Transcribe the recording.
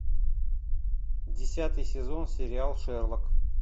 десятый сезон сериал шерлок